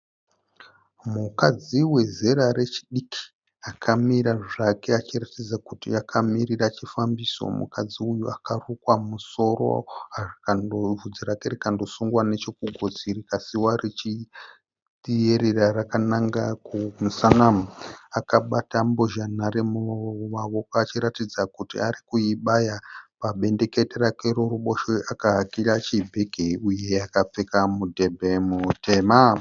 Mukadzi wezera rechidiki akamira zvake achiratidza kuti akamirira chifambiso. Mukadzi uyu akarukwa musoro vhudzi rake rikandosungwa nechekugotsi rikasiwa richierera rakananga kumusana. Akabata mbozhanhare mumavoko achiratidza kuti arikuibaya. Pabendekete rake rekuruboshwe akahakira chibhege uye akapfeka mudhebhe mutema.